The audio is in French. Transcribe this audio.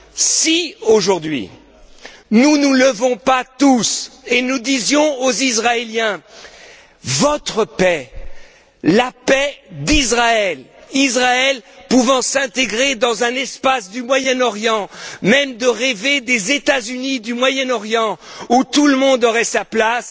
Si, aujourd'hui, nous ne nous levons pas tous pour dire aux Israéliens Votre paix, c'est la paix d'Israël, c'est Israël pouvant s'intégrer dans un espace du Moyen Orient, et même rêver des États unis du Moyen Orient où tout le monde aurait sa place,